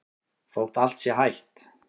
Þótt allt sé hætt?